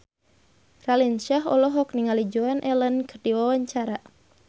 Raline Shah olohok ningali Joan Allen keur diwawancara